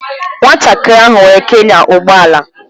Nwatakịrị ahụ nwere ike ịnya ụgbọ ala